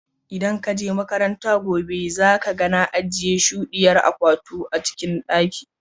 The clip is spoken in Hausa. Idan ka je makaranta gobe, zaka ga na ajiye shudiyar akwatu a cikin daki.